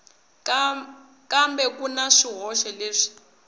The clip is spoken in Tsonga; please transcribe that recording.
kambe ku na swihoxo leswi